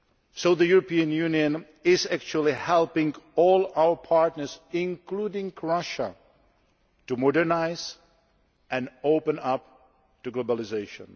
So the European Union is actually helping all its partners, including Russia, to modernise and open up to globalisation.